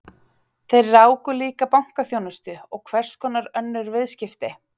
Þeir ráku líka bankaþjónustu og hverskonar önnur viðskipti.